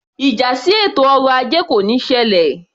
Ìjà sí ètò ọrọ ajé kò níí ṣẹlẹ̀